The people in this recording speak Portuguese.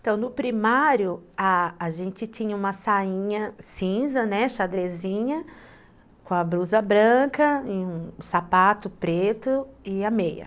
No primário, a gente tinha uma sainha cinza, né, xadrezinha, com a blusa branca, um sapato preto e a meia.